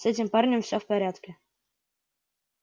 с этим парнем всё в порядке